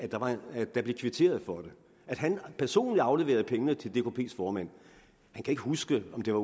at der blev kvitteret for det at han personligt afleverede pengene til dkps formand han kan ikke huske om det var